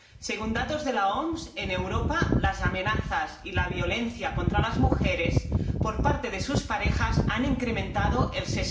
Según datos de la OMS, en Europa las amenazas y la violencia contra las mujeres por parte de sus parejas se han incrementado un